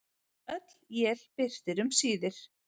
Öll él birtir um síðir.